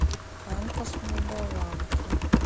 анка с молдованки